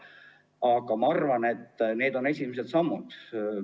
Aga ma arvan, et need on alles esimesed sammud.